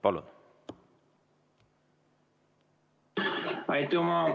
Palun!